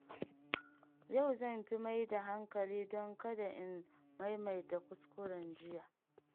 Yau zan fi mai da hankali don kada in maimaita kuskuren jiya.